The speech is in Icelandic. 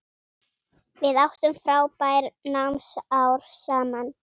Við áttum frábær námsár saman.